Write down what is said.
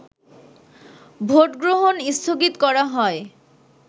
ভোটগ্রহণ স্থগিত করা হয়